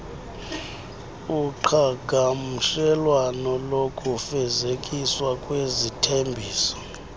uqhagamshelwano lokufezekiswa kwezithembiso